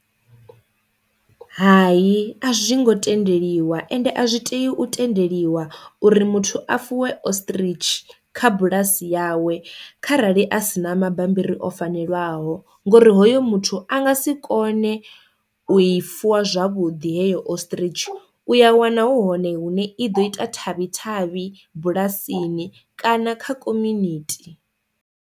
Hai a zwi ngo tendeliwa ende a zwi tea u tendeliwa uri muthu a fuwe ostrich kha bulasi yawe kharali a si na mabambiri o fanelwaho ngori hoyo muthu a nga si kone u i fuwa zwavhuḓi heyo ostrich u ya wana hu hone hune i ḓo ita thavhi thavhi bulasini kana kha community.